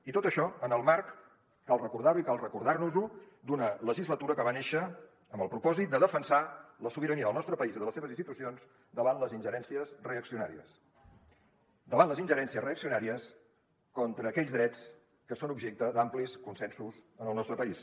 i tot això en el marc cal recordar ho i cal recordar nos ho d’una legislatura que va néixer amb el propòsit de defensar la sobirania del nostre país i de les seves institucions davant les ingerències reaccionàries contra aquells drets que són objecte d’amplis consensos en el nostre país